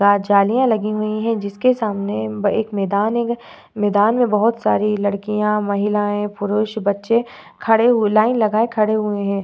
जालियाँ लगी हुवी हैं जिसके सामने एक मैदान है मैदान में बहुत सारी लड़किया महिलाये पुरुष बच्चे खड़े हुवे लाइन लगाए खड़े हुए हैं ।